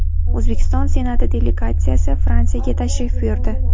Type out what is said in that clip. O‘zbekiston Senati delegatsiyasi Fransiyaga tashrif buyurdi.